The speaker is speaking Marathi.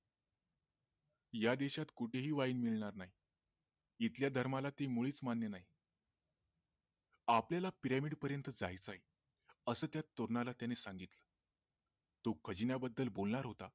या देशात कुठेही वाइन मिळणार नाही इथल्या धर्माला ते मुळीच मान्य नाही आपल्याला पिरामिड पर्यन्त जायच आहे अस त्या तरुणाला त्याने सांगितलं तो खजिन्या बद्दल बोलणार होता